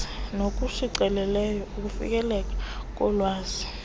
nokushicilelweyo ukufikeleleka kolwazi